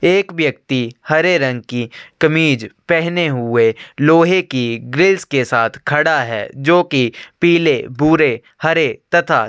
एक व्यक्ति हरे रंग की कमीज़ पहने हुए लोहै की ग्रिल्स के साथ खड़ा है जो की पिले भूरे हरे तथा--